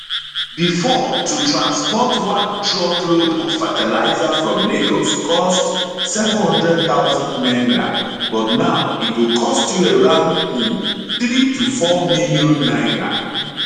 bifor to transport one truckload of fertilizer from lagos cost 700000 naira but now e go cost you around um 3 to 4 million naira